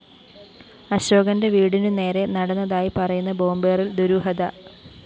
അശോകന്റെ വീടിനു നേരെ നടന്നതായി പറയുന്ന ബോംബേറില്‍ ദുരൂഹത